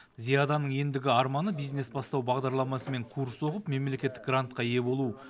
зияданың ендігі арманы бизнес бастау бағдарламасымен курс оқып мемлекеттік грантқа ие болу